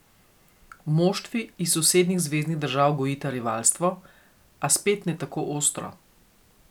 Moštvi iz sosednjih zveznih držav gojita rivalstvo, a spet ne tako ostro.